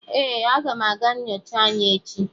Ee, aga m aga nyocha anya echi